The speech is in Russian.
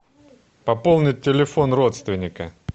пополнить телефон родственника